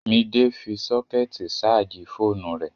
Midé fi sọ́kẹ̀tì ṣààjì fóònù rẹ̀